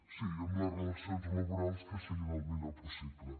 sí amb les relacions laborals que siguin el millor possible